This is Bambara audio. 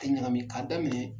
Tɛ ɲagami, ka daminɛ